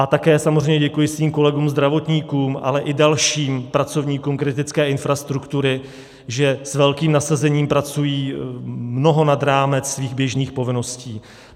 A také samozřejmě děkuji svým kolegům zdravotníkům, ale i dalším pracovníkům kritické infrastruktury, že s velkým nasazením pracují mnoho nad rámce svých běžných povinností.